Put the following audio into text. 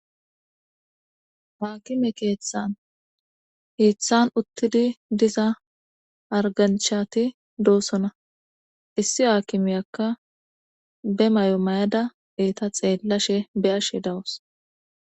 Haakime keeththan hiiththan uttidi diza harganchati doosona issi haakimeyakka be may'o mayada eeta xeellashshe be ashe dawus